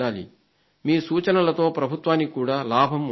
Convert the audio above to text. మీ సూచనలతో ప్రభుత్వానికి కూడా లాభం ఉంటుంది